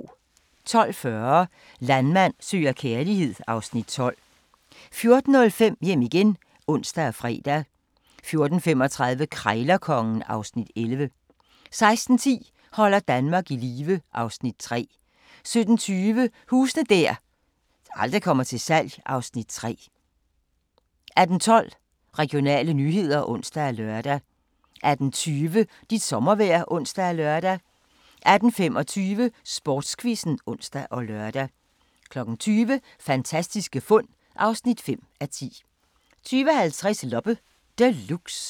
12:40: Landmand søger kærlighed (Afs. 12) 14:05: Hjem igen (ons og fre) 14:35: Krejlerkongen (Afs. 11) 16:10: Holder Danmark i live (Afs. 3) 17:20: Huse der aldrig kommer til salg (Afs. 3) 18:12: Regionale nyheder (ons og lør) 18:20: Dit sommervejr (ons og lør) 18:25: Sportsquizzen (ons og lør) 20:00: Fantastiske fund (5:10) 20:50: Loppe Deluxe